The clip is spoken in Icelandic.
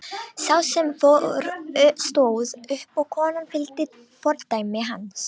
Sá sem fór stóð upp og konan fylgdi fordæmi hans.